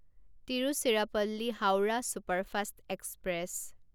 Tiruchirappalli Howrah superfast express